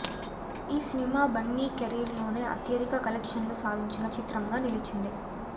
ఈ సినిమా బన్నీ కెరీర్లోనే అత్యధిక కలెక్షన్లు సాధించిన చిత్రంగా నిలిచింది